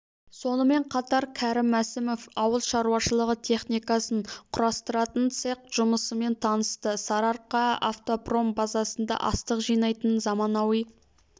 сонымен қатар кәрім мәсімов ауыл шаруашылығы техникасын құрастыратын цех жұмысымен танысты сарыарқаавтопром базасында астық жинайтын заманауи